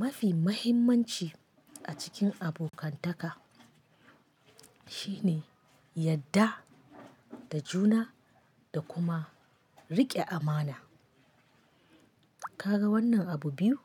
Mafi mahimmanci a cikin abokantaka shine yadda da juna da kuma riƙe amana. Kaga wannan abu biyu?